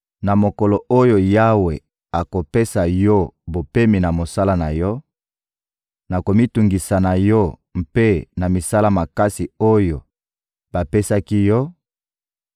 Na mokolo oyo Yawe akopesa yo bopemi na mosala na yo, na komitungisa na yo mpe na misala makasi oyo bapesaki yo,